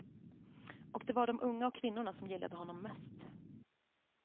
Och det var de unga och kvinnorna som gillade honom mest.